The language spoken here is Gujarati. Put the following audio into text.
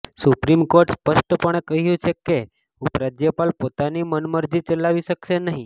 સુપ્રીમ કોર્ટે સ્પષ્ટપણે કહ્યુ છે કે ઉપરાજ્યપાલ પોતાની મનમરજી ચલાવી શકશે નહીં